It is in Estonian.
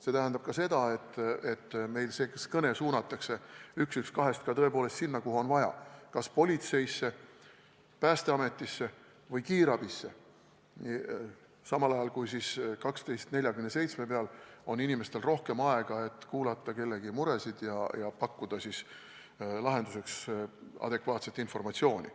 See tähendab ka seda, et kõne suunatakse ka 112-lt sinna, kuhu on tõepoolest vaja, kas politseisse, Päästeametisse või kiirabisse, samal ajal aga on telefonilt 1247 kõnesid vastu võtvatel inimestel rohkem aega, et kuulata kellegi muresid ja pakkuda lahenduseks adekvaatset informatsiooni.